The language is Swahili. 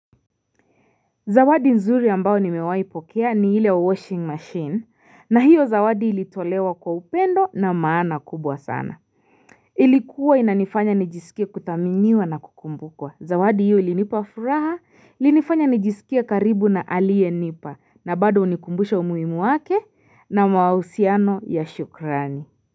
Zawadi nzuri ambao nimewahi pokea ni hile washing machine na hiyo zawadi ilitolewa kwa upendo na maana kubwa sana. Ilikuwa inanifanya nijisikie kutaminiwa na kukumbukwa. Zawadi hiyo ilinipafuraha, linifanya nijisikia karibu na alie nipa na bado unikumbusha umuimu wake na mausiano ya shukrani.